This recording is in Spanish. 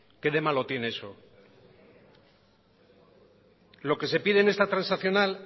qué de malo tiene eso lo que se pide en esta transaccional